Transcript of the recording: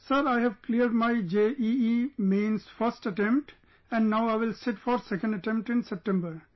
Sir, I have cleared my JEE Mains first attempt and now I will sit for second attempt in September